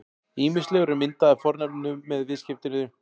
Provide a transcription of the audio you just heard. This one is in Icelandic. Ýmislegur er myndað af fornafninu með viðskeytinu-